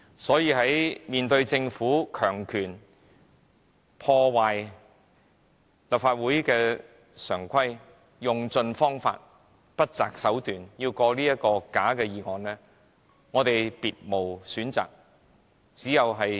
所以，面對政府硬以強權破壞立法會常規，用盡方法，不擇手段要通過這項假議案，我們別無選擇，只得尋求立刻中止有關議案。